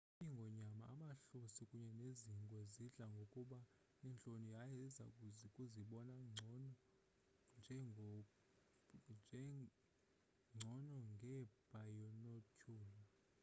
iingonyama amahlosi kunye nezingwe zidla ngokuba nentloni yaye iza kuzibona ngcono ngeebhaynotyhula